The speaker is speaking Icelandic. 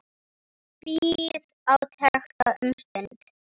Bíð átekta um stund.